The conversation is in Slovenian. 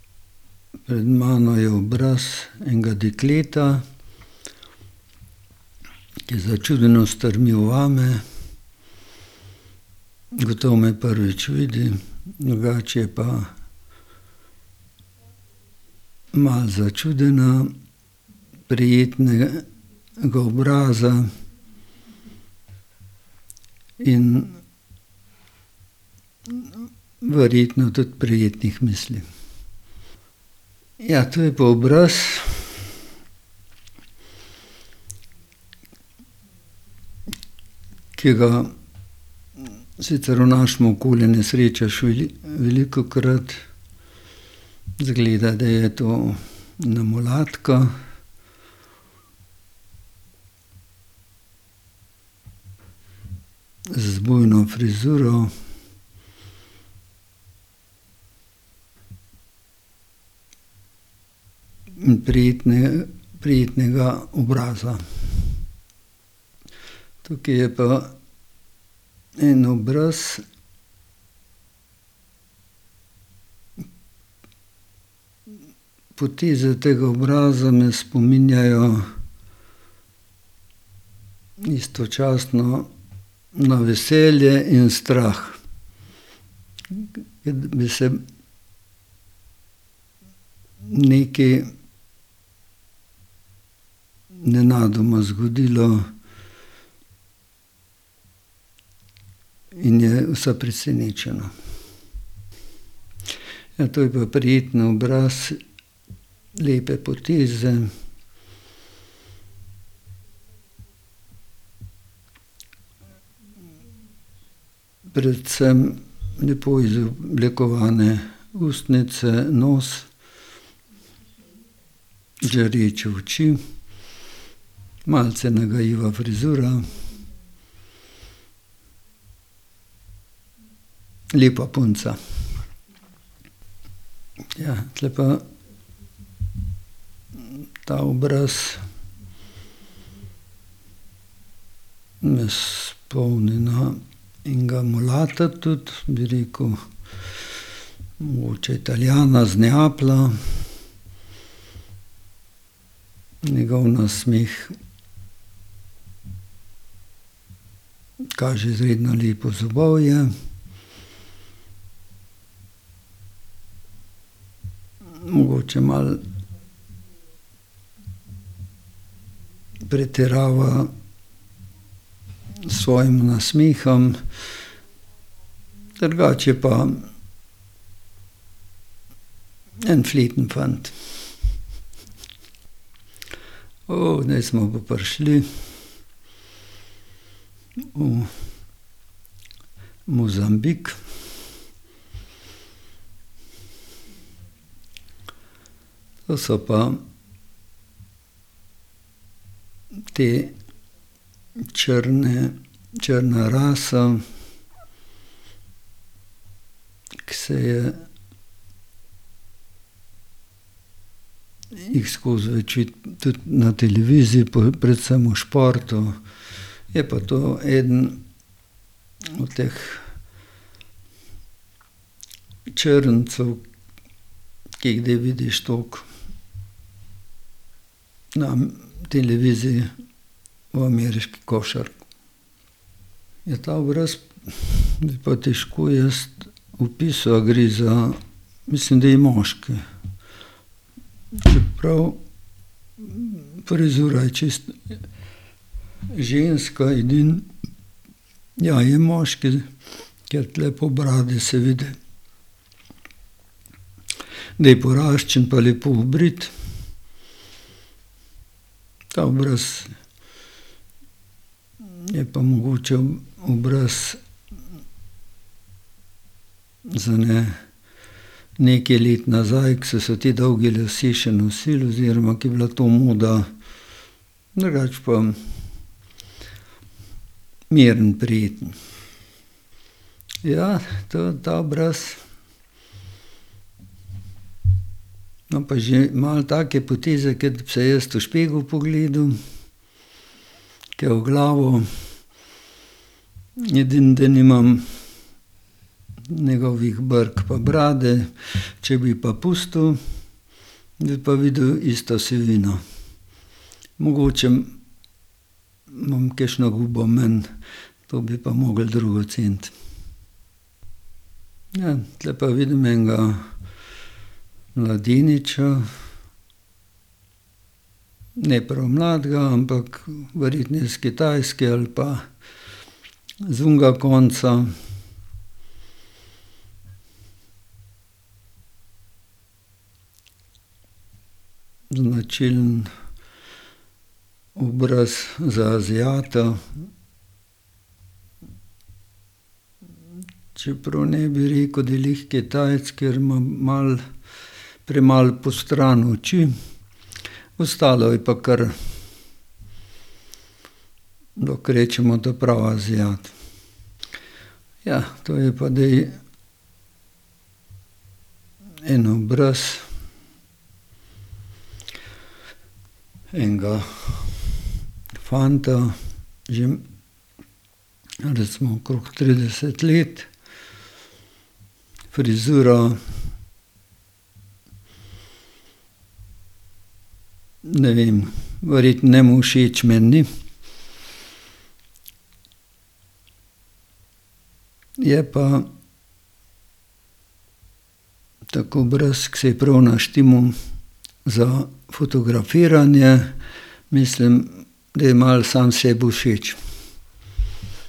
Pred mano je obraz enega dekleta, ki začudeno strmi vame. Gotovo me prvič vidi. Drugače je pa malo začudena, prijetnega obraza in verjetno tudi prijetnih misli. Ja, to je pa obraz, ki ga sicer v našemu okolju ne srečaš velikokrat. Izgleda, da je to ena mulatka z bujno frizuro in prijetnega obraza. Tukaj je pa en obraz. Poteze tega obraza me spominjajo istočasno na veselje in strah. Kot bi se nekaj nenadoma zgodilo in je vsa presenečena. Ja, to je pa prijeten obraz, lepe poteze, predvsem lepo izoblikovane ustnice, nos. Žareče oči, malce nagajiva frizura. Lepa punca. Ja, tule pa ta obraz me spomni na enega mulata tudi, bi rekel. Mogoče Italijana, iz Neaplja. Njegov nasmeh kaže izredno lepo zobovje. Mogoče malo pretirava s svojim nasmehom. Drugače je pa en fleten fant. zdaj smo pa prišli. V Mozambik. To so pa te črne, črna rasa, ke se je jih skozi več vidi tudi na televiziji, predvsem v športu. Je pa to eden teh črncev, ki jih zdaj vidiš toliko na televiziji v ameriški košarki. Ja, ta obraz bi pa težko jaz opisal, a gre za, mislim, da je moški. Čeprav frizura je čisto ženska, edino, ja, je moški, ker tule po bradi se vidi, da je poraščen pa lepo obrit. Ta obraz je pa mogoče obraz z ene nekaj let nazaj, ke so se ti dolgi lasje še nosili oziroma ke je bilo to moda. Drugače pa miren, prijeten. Ja, to, ta obraz ima pa že malo take poteze, kot bi se jaz v špegel pogledal, tja v glavo. Edino, da nimam njegovih brk pa brade. Če bi pa pustil, bi pa videl isto sivino. Mogoče imam kakšno gubo manj. To bi pa mogli drugi oceniti. Ja, tule pa vidim enega mladeniča. Ne prav mladega, ampak ... Verjetno je s Kitajske ali pa z onega konca. Značilen obraz za aziata. Čeprav ne bi rekel, da je glih Kitajec, ker ma malo premalo postrani oči. Ostalo je pa kar, lahko rečemo, ta pravi aziat. Ja, to je pa zdaj en obraz enega fanta že recimo okrog trideset let. Frizura, ne vem, verjetno njemu všeč, meni ni. Je pa tak obraz, ke se je prav naštimal za fotografiranje. Mislim, da je malo sam sebi všeč.